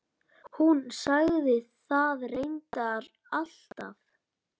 Hún sagði það reyndar alltaf.